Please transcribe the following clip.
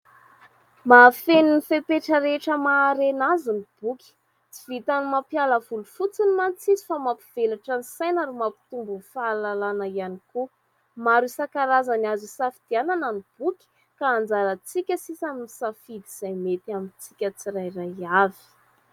Mahafeno ny fepetra rehetra maha harena azy ny boky. Tsy vitan'ny mampiala voly fotsiny mantsy izy fa mampivelatra ny saina ary mampitombo ny fahalalàna ihany koa. Maro isan-karazany azo hisafidianana ny boky ka anjarantsika sisa ny misafidy izay mety amintsika tsirairay avy.